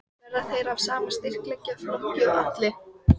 Verða þeir af sama styrkleikaflokki og Atli?